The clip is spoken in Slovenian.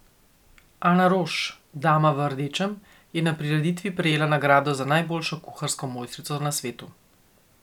Ana Roš, dama v rdečem, je na prireditvi prejela nagrado za najboljšo kuharsko mojstrico na svetu.